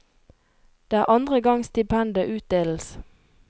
Det er andre gang stipendet utdeles.